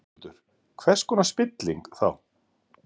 Höskuldur: Hvers konar spilling, þá?